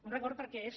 un record perquè és